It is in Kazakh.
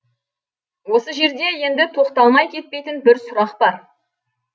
осы жерде енді тоқталмай кетпейтін бір сұрақ бар